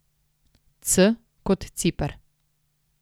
C kot Ciper.